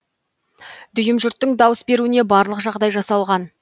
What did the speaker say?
дүйім жұрттың дауыс беруіне барлық жағдай жасалған